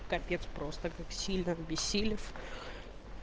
капец просто как сильно обессилев